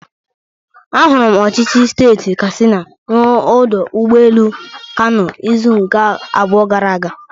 Ahụrụ m ọchịchị steeti katsina n'ọdụ ụgbọ elu Kano izuụka abụọ gara aga.